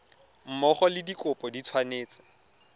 mmogo le dikopo di tshwanetse